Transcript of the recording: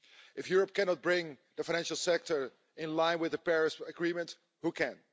If Europe cannot bring the financial sector in line with the Paris Agreement, who can?